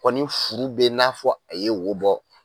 Kɔ ni furu be n'a fɔ a ye wo bɔ